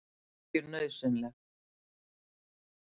Er virkjun nauðsynleg?